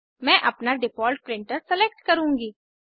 मैं अपना default printer select करुँगी